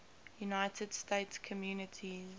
united states communities